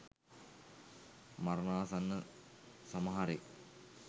මරණාසන්න සමහරෙක්